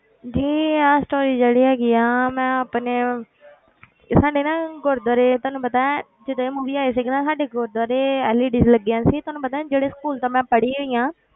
ਜੀ ਇਹ story ਜਿਹੜੀ ਹੈਗੀ ਆ ਮੈਂ ਆਪਣੇ ਇਹ ਸਾਡੇ ਨਾ ਗੁਰੂਦੁਆਰੇ ਤੁਹਾਨੂੰ ਪਤਾ ਹੈ ਜਦੋਂ ਇਹ movie ਆਈ ਸੀਗੀ ਨਾ ਸਾਡੇ ਗੁਰੂਦੁਆਰੇ LED ਲੱਗੀਆਂ ਸੀ ਤੁਹਾਨੂੰ ਪਤਾ ਹੈ ਜਿਹੜੇ school ਤੋਂ ਮੈਂ ਪੜ੍ਹੀ ਹੋਈ ਹਾਂ,